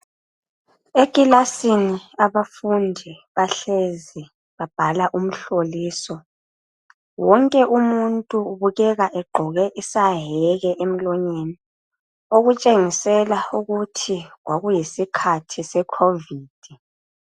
Ekilasini abafundi bahlezi babhala umhloliso. Wonke umuntu ubukeka egqoke isaheke emlonyeni okutshengisela ukuthi kwa kuyisikhathi se covid.